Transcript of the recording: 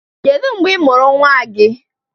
Kedu mgbe ị mụrụ nnwa gị?